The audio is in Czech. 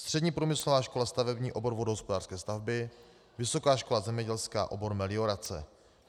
Střední průmyslová škola stavební, obor vodohospodářské stavby, Vysoká škola zemědělská, obor meliorace.